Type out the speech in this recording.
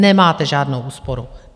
Nemáte žádnou úsporu.